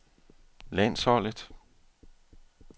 landsholdet